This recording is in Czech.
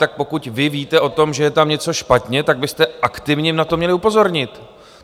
Tak pokud vy víte o tom, že je tam něco špatně, tak byste aktivně na to měli upozornit.